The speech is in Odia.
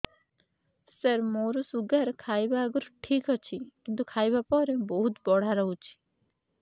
ସାର ମୋର ଶୁଗାର ଖାଇବା ଆଗରୁ ଠିକ ଅଛି କିନ୍ତୁ ଖାଇବା ପରେ ବହୁତ ବଢ଼ା ରହୁଛି